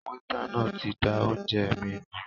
Wétà náà tí dá oúnjẹ mí nù